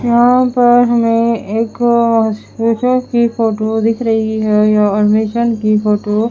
यहा पर हमे एक की फोटो दिख रही है अ की फोटो --